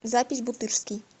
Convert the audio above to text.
запись бутырский